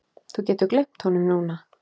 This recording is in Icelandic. Þú getur gleymt honum núna